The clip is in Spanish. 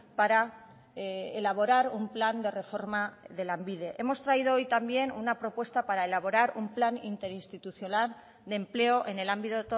para elaborar un plan de reforma de lanbide hemos traído hoy también una propuesta para elaborar un plan interinstitucional de empleo en el ámbito